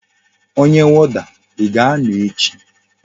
Onye woda,I ga-ano echi?